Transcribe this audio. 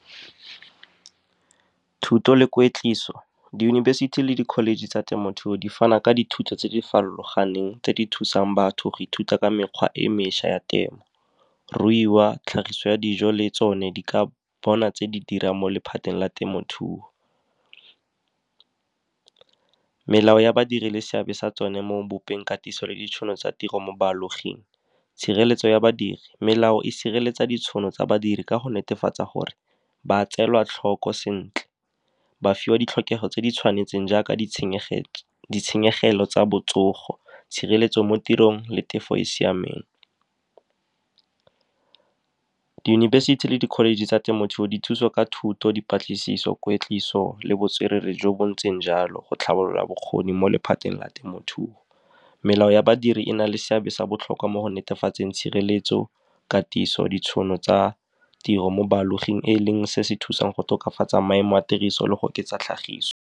Thuto le kwetliso, diyunibesithi le di-college tsa temothuo di fana ka dithuto tse di farologaneng tse di thusang batho go ithuta ka mekgwa e mešwa ya temo, ruiwa, tlhagiso ya dijo, le tsone di ka bona tse di dirang mo lephateng la temothuo. Melao ya badiri le seabe sa tsone mo go bopeng, katiso, le ditšhono tsa tiro mo baaloging. Tshireletso ya badiri, melao e sireletsa ditšhono tsa badiri ka go netefatsa gore ba tseelwa tlhoko sentle, ba fiwa ditlhokego tse di tshwanetseng jaaka ditshenyegelo tsa botsogo, tshireletso mo tirong, le tefo e e siameng. Diyunibesithi le di-college tsa temothuo di thusa ka thuto, dipatlisiso, kwetliso le botswerere jo bo ntseng jalo go tlhabolola bokgoni mo lephateng la temothuo. Melao ya badiri e na le seabe sa botlhokwa mo go netefatseng tshireletso, katiso, ditšhono tsa tiro mo baaloging. E leng se se thusang go tokafatsa maemo a tiriso le go oketsa tlhagiso.